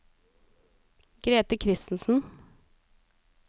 Grethe Christensen